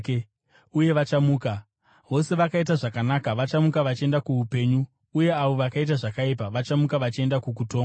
uye vachamuka; vose vakaita zvakanaka vachamuka vachienda kuupenyu, uye avo vakaita zvakaipa vachamuka vachienda kukutongwa.